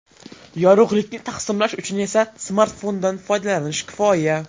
Yorug‘likni taqsimlash uchun esa smartfondan foydalanish kifoya.